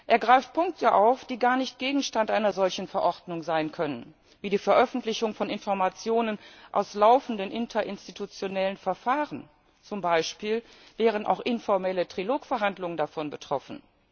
Er greift Punkte auf, die gar nicht Gegenstand einer solchen Verordnung sein können wie die Veröffentlichung von Informationen aus laufenden interinstitutionellen Verfahren, zum Beispiel wären auch informelle Trilogverhandlungen davon betroffen.